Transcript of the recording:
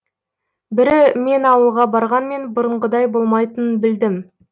бірі мен ауылға барғанмен бұрынғыдай болмайтынын білдім